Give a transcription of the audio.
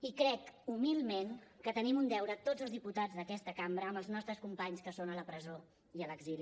i crec humilment que tenim un deure tots els diputats d’aquesta cambra amb els nostres companys que són a la presó i a l’exili